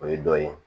O ye dɔ ye